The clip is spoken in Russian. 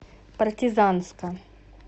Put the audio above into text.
партизанска